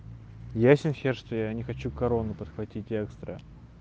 ясень хер что я не хочу корону подхватить экстра